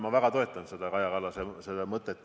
Ma väga toetan seda Kaja Kallase mõtet.